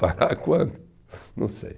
Parar quando? Não sei.